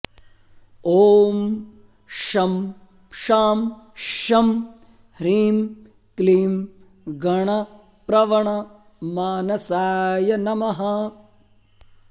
ॐ शं शां षं ह्रीं क्लीं गणप्रवणमानसाय नमः